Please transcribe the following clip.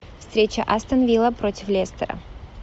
встреча астон вилла против лестера